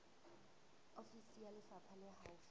ofisi ya lefapha le haufi